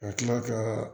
Ka tila ka